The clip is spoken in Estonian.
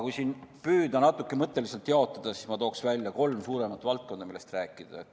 Kui nüüd püüda natuke mõtteliselt jaotada, siis tooksin välja kolm suuremat valdkonda, millest rääkida.